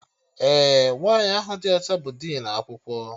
Ee, nwaanyị ahụ dị ọcha bụ dinu akwụkwọ